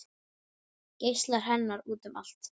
Geislar hennar út um allt